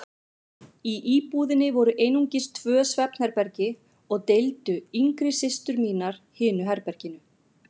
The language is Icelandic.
Í íbúðinni voru einungis tvö svefnherbergi og deildu yngri systur mínar hinu herberginu.